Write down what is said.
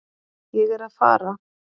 Ég er að fara.